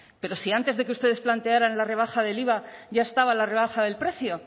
pero si antes de que ustedes plantearan la rebaja del iva ya estaba la rebaja del precio